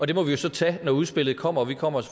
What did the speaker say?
det må vi jo så tage når udspillet kommer og vi kommer